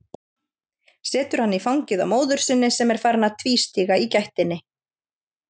Setur hann í fangið á móður sinni sem er farin að tvístíga í gættinni.